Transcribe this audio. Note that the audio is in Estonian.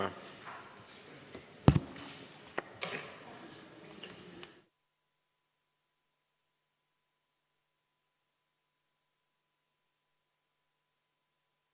Istungi lõpp kell 17.07.